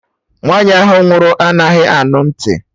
Nwaanyi ahụ nwụrụ anaghị anụ ntị